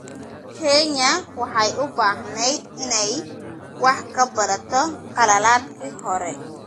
Kenya waxay u baahnayd inay wax ka barato khaladaadkii hore.